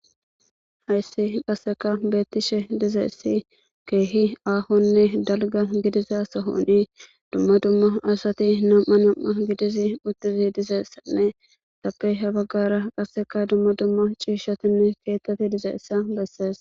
Hayssi qasseka beettishe dizeessi keehi aahonne dalga gidiza sahooni dumma dumma asati nam'a nam'a gidizi mutizi dizeessanne tappe habagara qasseka dumma dumma ciishatinne keettati dizeessa bessees